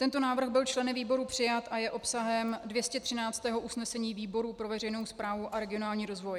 Tento návrh byl členy výboru přijat a je obsahem 213. usnesení výboru pro veřejnou správu a regionální rozvoj.